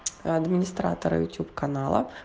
администратор ютюб каналов